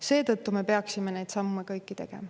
Seetõttu me peaksime kõik need sammud tegema.